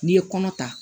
N'i ye kɔnɔ ta